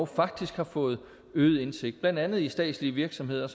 faktisk har fået øget indsigt blandt andet i statslige virksomheder